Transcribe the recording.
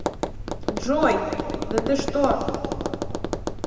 джой да ты что